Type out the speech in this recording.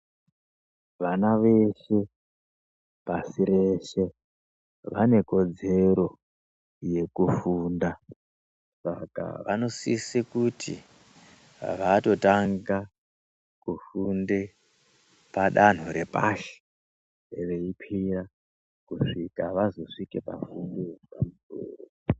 Vana veshe, pasi reshe vanekodzero yekufunda Saka vanosise kuti vatotanga kufunda padanho repashi veikwira kusvika vazosvika pafundo yepamusoro.